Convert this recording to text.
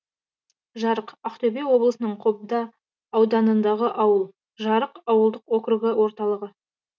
жарық ақтөбе облысының қобда ауданындағы ауыл жарық ауылдық округі орталығы